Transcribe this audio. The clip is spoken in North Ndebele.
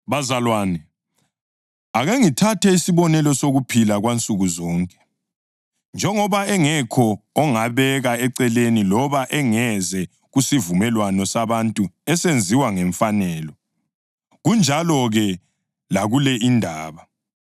Bazalwane, ake ngithathe isibonelo sokuphila kwansukuzonke. Njengoba engekho ongabeka eceleni loba engeze kusivumelwano sabantu esenziwe ngemfanelo, kunjalo-ke lakule indaba.